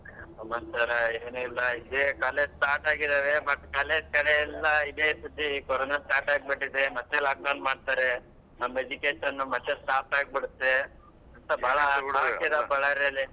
ಸಮಾಚಾರ ಏನೂ ಇಲ್ಲಾ ಇದೇ college start ಆಗಿದಾವೆ but college ಕಡೆಯೆಲ್ಲಾ ಇದೇ ಸುದ್ದಿ ಕರೋನ start ಆಗ್ಬಿಟ್ಟಿದೆ ಮತ್ತೆ lockdown ಮಾಡ್ತಾರೆ ನಮ್ education ಮತ್ತೆ stop ಆಗ್ಬಿಡುತ್ತೆ.ಅಂತ ಬಾಳಾ Ballari ಅಲ್ಲಿ